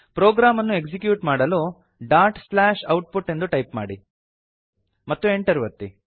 program ಅನ್ನು execute ಮಾಡಲು dot slash output ಎಂದು ಟೈಪ್ ಮಾಡಿ ಮತ್ತು Enter ಒತ್ತಿ